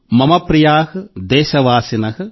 మమ ప్రియాః దేశవాసినః